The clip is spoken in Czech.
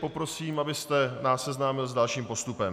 Poprosím, abyste nás seznámil s dalším postupem.